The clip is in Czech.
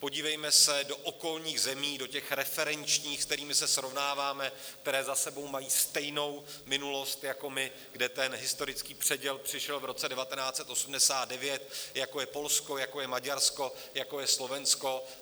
Podívejme se do okolních zemí, do těch referenčních, s kterými se srovnáváme, které za sebou mají stejnou minulost jako my, kde ten historický předěl přišel v roce 1989, jako je Polsko, jako je Maďarsko, jako je Slovensko.